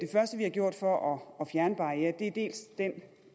første vi har gjort for at fjerne barrierer